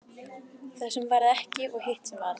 Það sem varð ekki og hitt sem varð